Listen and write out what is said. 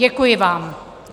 Děkuji vám.